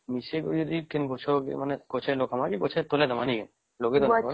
ମିସେଇବା ଯଦି କେମିତି ଗଛରେ ଲଗେଇବା ନ କି ଗଛର ତଳେ ଦବ ନାଇଁ କି ? ଲଗେଇଦେବା